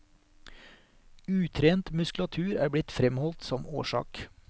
Utrent muskulatur er blitt fremholdt som årsak.